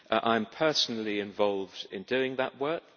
I am personally involved in doing that work